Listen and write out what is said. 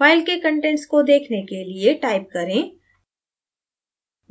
file के contents को देखने के लिए type करें